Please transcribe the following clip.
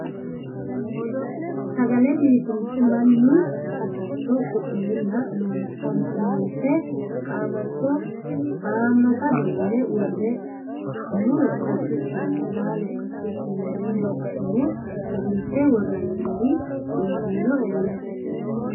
Sagale biifinse mannu hasatto ku'lenna loonse qaamatto hamata duune wore muro gatukki laalo gatukkinni gamba assine raise worooni gari injinoe anera.